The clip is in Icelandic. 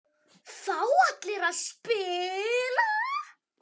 Fá allir að spila?